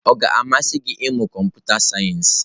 Ọ ga-amasị gị ịmụ kọmputa sayensị?